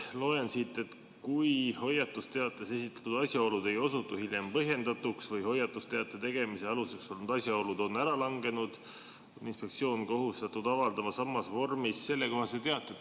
Loen siit, et kui hoiatusteates esitatud asjaolud ei osutu hiljem põhjendatuks või hoiatusteate tegemise aluseks olnud asjaolud on ära langenud, on inspektsioon kohustatud avaldama samas vormis sellekohase teate.